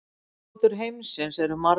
Ráðgátur heimsins eru margar.